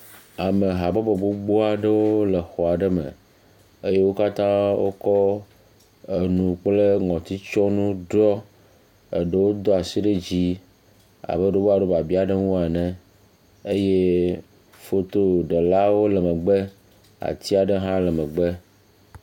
Ame habɔbɔ gbogboa ɖewo le xɔ aɖe me eye wo katã wo kɔ enu kple ŋɔtsitsɔnu ɖiɔ. Eɖo wo do asi ɖe dzi abe ɖe wobe woaɖo biabia aɖe ŋu ene eye fotoɖelawo le megbe. Atia ɖe hã le megbe.